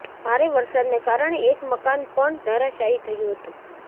ભારે વરસાદને કારણે એક મકાન પણ ધરાશાયી થયું હતુ